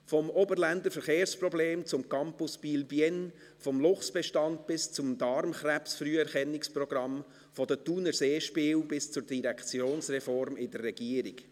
Vom Oberländer Verkehrsproblem zum Campus Biel/Bienne, vom Luchsbestand bis zum Darmkrebsfrüherkennungsprogramm, von den Thuner Seespielen bis zur Direktionsreform in der Regierung.